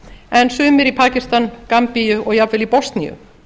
en sumir í pakistan gambíu og jafnvel í bosníu